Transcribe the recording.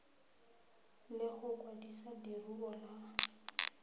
le go kwadisa leruo la